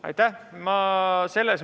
Aitäh!